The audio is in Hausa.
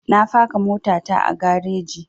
Na faka mota ta a gareji